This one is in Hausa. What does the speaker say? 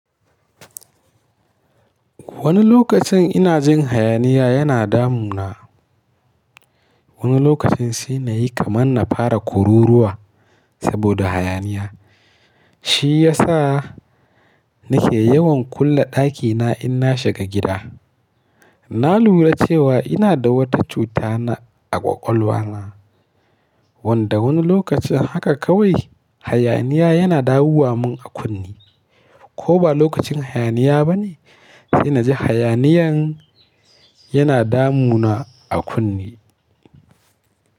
Wani lokacin ina jin hayaniya yana damuna. Wani lokacin sai na yi kamar na fara kururuwa saboda hayaniya. Shi ya sa nake yawan kulle ɗakina in na shiga gida. Na lura cewa ina da wata cuta na ƙwaƙwalwa wanda wani lokacin haka kawai hayaniya yana dawuwa mun a kunne. Ko ba lokacin hayaniya ba ne, sai na ji hayaniyan yana damuna a kunne.